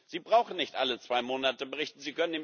Sie brauchen nicht alle zwei Monate zu berichten.